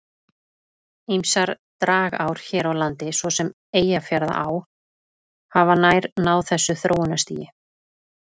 Ýmsar dragár hér á landi, svo sem Eyjafjarðará, hafa nær náð þessu þróunarstigi.